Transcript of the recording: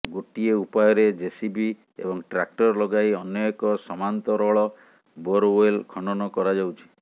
ଗୋଟିଏ ଉପାୟରେ ଜେସିବି ଏବଂ ଟ୍ରାକ୍ଟର୍ ଲଗାଇ ଅନ୍ୟ ଏକ ସମାନ୍ତରଳ ବୋରୱେଲ ଖନନ କରାଯାଉଛି